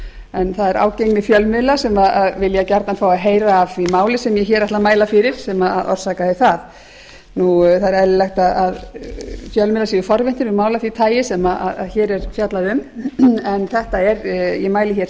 en það er ágengni fjölmiðla sem vilja gjarnan fá að heyra af því máli sem ég hér ætla að mæla fyrir sem orsakaði það það er eðlilegt að fjölmiðlar séu forvitnir um mál af því tagi sem hér er fjallað um en ég mæli hér sem sagt